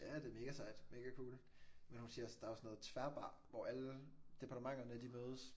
Ja det mega sejt mega cool men hun siger også der er jo sådan noget tværbar hvor alle departementerne de mødes